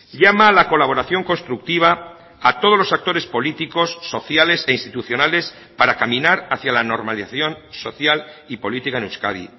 llama a la colaboración constructiva a todos los actores políticos sociales e institucionales para caminar hacia la normalización social y política en euskadi